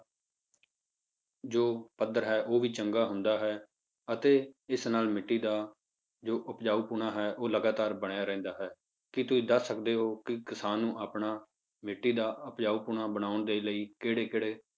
ਜੋ ਪੱਧਰ ਹੈ ਉਹ ਵੀ ਚੰਗਾ ਹੁੰਦਾ ਹੈ ਅਤੇ ਇਸ ਨਾਲ ਮਿੱਟੀ ਦਾ ਜੋ ਉਪਜਾਊਪੁਣਾ ਹੈ ਉਹ ਲਗਾਤਾਰ ਬਣਿਆ ਰਹਿੰਦਾ ਹੈ, ਕੀ ਤੁਸੀਂ ਦੱਸ ਸਕਦੇ ਹੋ ਕਿ ਕਿਸਾਨ ਨੂੰ ਆਪਣਾ ਮਿੱਟੀ ਦਾ ਉਪਜਾਊਪੁਣਾ ਬਣਾਉਣ ਦੇ ਲਈ ਕਿਹੜੇ ਕਿਹੜੇ